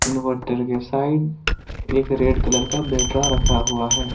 Inverter के side एक red colour का बैटरा रखा हुआ है।